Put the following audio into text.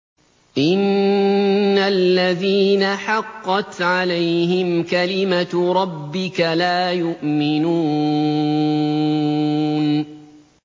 إِنَّ الَّذِينَ حَقَّتْ عَلَيْهِمْ كَلِمَتُ رَبِّكَ لَا يُؤْمِنُونَ